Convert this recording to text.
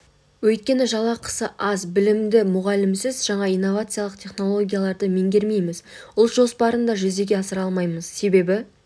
өйткені жалақысы аз білімді мұғалімсіз жаңа инновациялық технологияларды меңгермейміз ұлт жоспарын да жүзеге асыра алмаймыз себебі